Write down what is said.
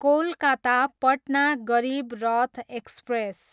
Kolkata, Patna Garib Rath express